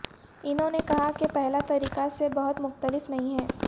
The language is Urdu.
انہوں نے کہا کہ پہلا طریقہ سے بہت مختلف نہیں ہے